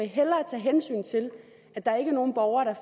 hellere tage hensyn til at der ikke er nogen borgere der